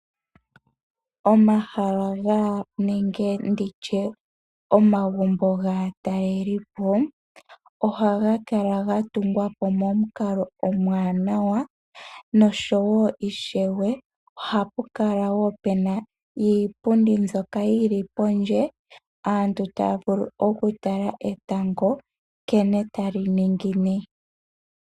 Omahala nenge ndi tye omagumbo gaatalelipo ohaga kala ga tungwa po momukalo omwaanawa nosho wo ishewe ohapu kala wo pu na iipundi mbyoka yi li pondje aantu taya vulu okutala etango nkene tali ningine.